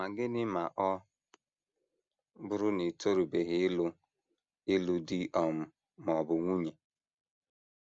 Ma gịnị ma ọ bụrụ na i torubeghị ịlụ ịlụ di um ma ọ bụ nwunye?